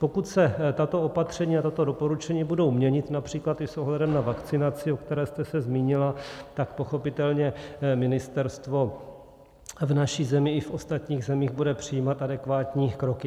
Pokud se tato opatření a tato doporučení budou měnit například i s ohledem na vakcinaci, o které jste se zmínila, tak pochopitelně ministerstvo v naší zemí i v ostatních zemích bude přijímat adekvátní kroky.